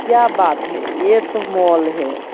क्या बात है यह तो मॉल है।